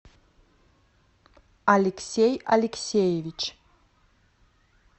алексей алексеевич